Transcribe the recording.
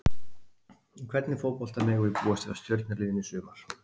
En hvernig fótbolta megum við búast við af Stjörnuliðinu í sumar?